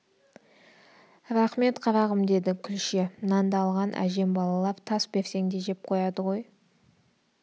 рақмет қарағым деді күлше нанды алған әжем балалар тас берсең де жеп қояды ғой